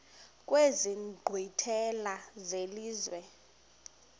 kwezi nkqwithela zelizwe